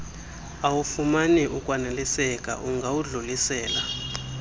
awufumani ukwaneliseka ungawudlulisela